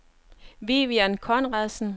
Vivian Conradsen